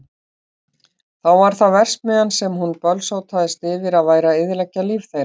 Þá var það verksmiðjan sem hún bölsótaðist yfir að væri að eyðileggja líf þeirra.